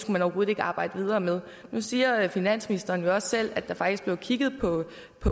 man overhovedet ikke arbejde videre med nu siger finansministeren jo også selv at der faktisk blev kigget på